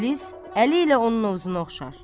İblis əli ilə onun novzuna oxşar.